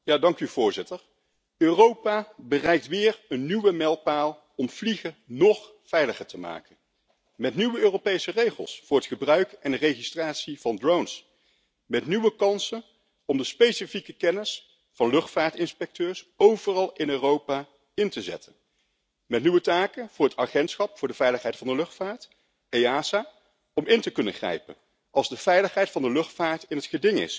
Voorzitter, Europa bereikt weer een nieuwe mijlpaal om vliegen nog veiliger te maken met nieuwe Europese regels voor het gebruik en de registratie van drones, met nieuwe kansen om de specifieke kennis van luchtvaartinspecteurs overal in Europa in te zetten, en met nieuwe taken voor het Agentschap voor de veiligheid van de luchtvaart om in te kunnen grijpen als de veiligheid van de luchtvaart in het geding is.